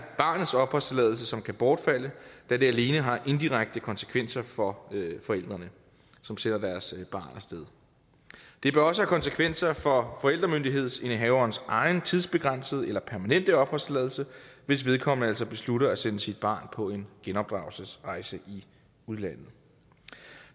barnets opholdstilladelse som kan bortfalde da det alene har indirekte konsekvenser for forældrene som sender deres barn af sted det bør også have konsekvenser for forældremyndighedsindehaverens egen tidsbegrænsede eller permanente opholdstilladelse hvis vedkommende altså beslutter at sende sit barn på en genopdragelsesrejse i udlandet